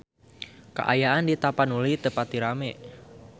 Kaayaan di Tapanuli teu pati rame